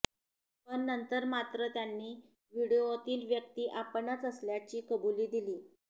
पण नंतर मात्र त्यांनी व्हिडीओतील व्यक्ती आपणच असल्याची कबुली दिली